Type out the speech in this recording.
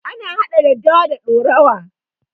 Ana hada daddawa da ɗorawa.